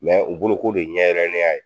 u bolo k'o de ɲɛ yɛrɛneya ye